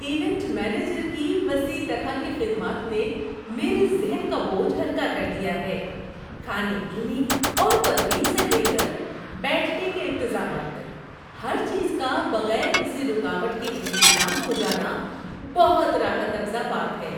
Event manager کی وسیع طرح کی خدمات نے میرے ذہن کا بوجھ ہلکا کر دیا ہے – کھانے پینے اور تفریح سے لے کر بیٹھنے کے انتظامات تک؛ ہر چیز کا بغیر کسی رکاوٹ کے انتظام ہو جانا بہت راحت افزا بات ہے۔